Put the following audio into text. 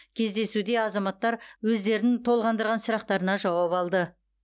кездесуде азаматтар өздерін толғандырған сұрақтарына жауап алды